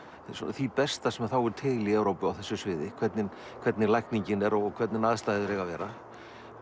því besta sem þá er til í Evrópu á þessu sviði hvernig hvernig lækningin er og hvernig aðstæður eiga að vera